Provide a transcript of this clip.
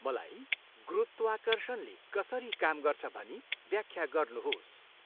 मलाई गुरुत्वाकर्षणले कसरी काम गर्छ भनी व्याख्या गर्नुहोस्।